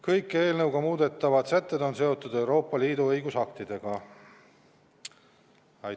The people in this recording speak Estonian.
Kõik eelnõuga muudetavad sätted on seotud Euroopa Liidu õigusaktidega.